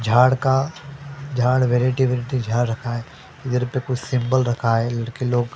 झाड़ का झाड़ वेरेटी वैरायटी झाड़ रखा है इधर पे कुछ सिंबल रखा है लड़के लोग --